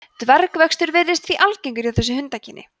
dvergvöxtur virðist því algengur hjá þessu hundakyni